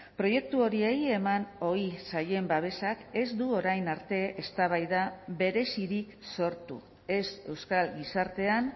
proiektu horiei eman ohi zaien babesak ez du orain arte eztabaida berezirik sortu ez euskal gizartean